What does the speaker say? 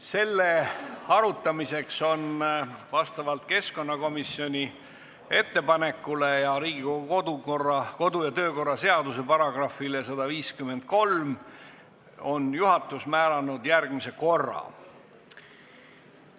Selle arutamiseks on vastavalt keskkonnakomisjoni ettepanekule ning Riigikogu kodu- ja töökorra seaduse §-le 153 määranud juhatus järgmise korra.